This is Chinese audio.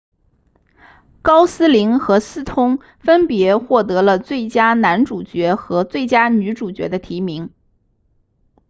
高斯林和斯通分别获得了最佳男主角和最佳女主角的提名